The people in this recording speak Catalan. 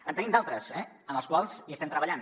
en tenim d’altres eh en els quals hi estem treballant